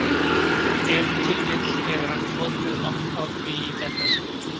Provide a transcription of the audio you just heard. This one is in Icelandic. Ef til vill hefur hann flotið langt á því í þetta sinn.